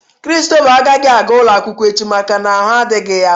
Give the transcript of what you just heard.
Christopher agaghị aga ụlọakwụkwọ echi maka na ahụ adịghị ya.